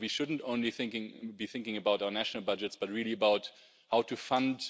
We shouldn't only be thinking about our national budgets, but really about how to fund